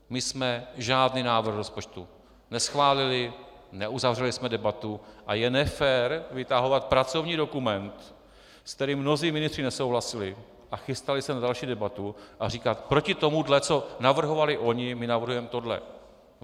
My jsme žádný návrh rozpočtu neschválili, neuzavřeli jsme debatu a je nefér vytahovat pracovní dokument, s kterým mnozí ministři nesouhlasili a chystali se na další debatu, a říkat: proti tomu, co navrhovali oni, my navrhujeme tohle.